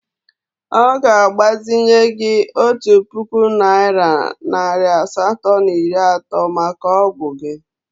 Ọ ga-agbazinye gị otu puku naịra nari asatọ na iri atọ maka ọgwụ gị.